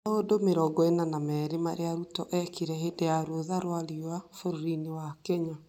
Maũndũ mirongo ĩna na merĩ marĩa Ruto eekire hĩndĩ ya rũtha rwa riũa bũrũriinĩ wa Kenya